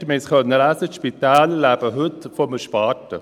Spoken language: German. der Vorsitzende der GPK hat es zitiert, und wir konnten es lesen.